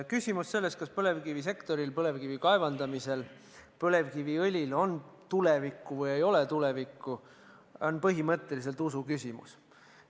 Küsimus sellest, kas põlevkivisektoril, põlevkivi kaevandamisel, põlevkiviõlil on tulevikku või ei ole tulevikku, on põhimõtteliselt usu küsimus.